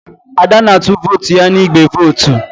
Ada na-atụ vootu ya n'igbe vootu.